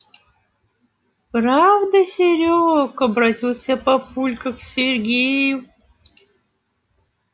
правда серёг обратился папулька к сергею